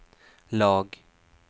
lag